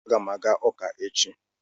Aga m aga uka echi